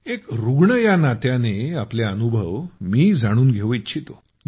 एक रूग्ण या नात्यानं आपले अनुभव मी जाणून घेऊ इच्छितो